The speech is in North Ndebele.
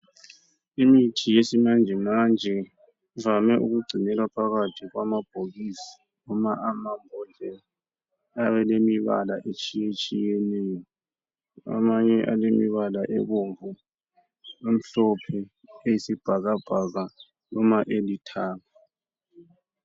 Imithi yesimanjemanje ivame ukugcinelwa phakathi kwamabhokisi noma amabhodlela ayabe elemibala etshiyetshiyeneyo amanye alemibala ebomvu, emhlophe, eyisibhakabhaka noma elithanga .